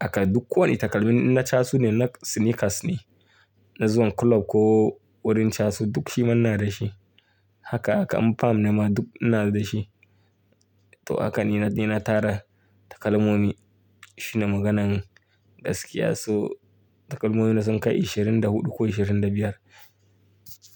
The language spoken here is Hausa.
Haka duk kowane takalmin na chasu ne, na sneakers ne, na zuwa club ko wurin chasu duk shi ma ina da shi. Haka haka, in palm ne ma duk ina da shi. To haka ni na tara takalmomi shine maganan gaskiya. So takalmomina sun kai ashirin da huɗu ko ashirin da biyar.